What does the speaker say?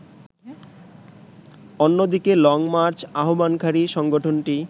অন্যদিকে লংমার্চ আহ্বানকারী সংগঠনটি